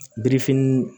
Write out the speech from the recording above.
Birifini